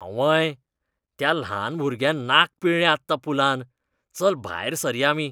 आंवंय! त्या ल्हान भुरग्यान नाक पिळ्ळें आत्तां पुलांत. चल भायर सरया आमी.